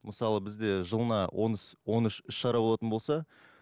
мысалы бізде жылына он үш іс шара болатын болса